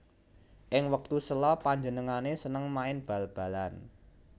Ing wektu sela panjenengané seneng main bal balan